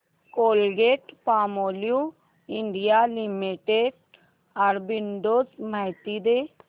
Colgate Palmolive India limited arbitrage माहिती दे